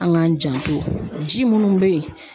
An k'an janto, ji minnu bɛ yen